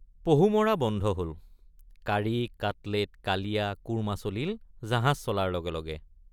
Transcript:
পহু মৰা বন্ধ হল কাৰী কাটলেট কালিয়া কোৰ্মা চলিল জাহাজ চলাৰ লগে লগে।